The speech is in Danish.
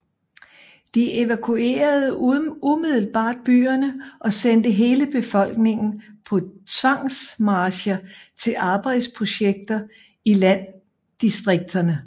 De evakuerede umiddelbart byerne og sendte hele befolkningen på tvangsmarcher til arbejdsprojekter i landdistrikterne